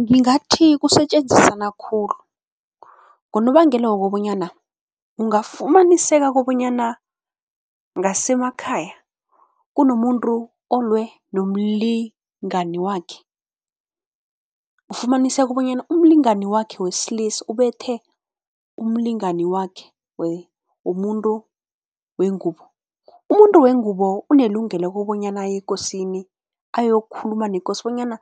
Ngingathi kusetjenzisana khulu ngonobangela wokobanyana ungafumaniseka kobanyana ngasemakhaya kunomuntu olwe nomlingani wakhe. Ufumaniseka bonyana umlingani wakhe wesilisa ubethe umlingani wakhe womuntu wengubo. Umuntu wengubo unelungelo kobonyana aye ekosini ayokukhuluma nekosi bonyana